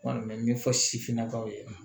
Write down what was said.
Kɔni bɛ min fɔ sifinnakaw ye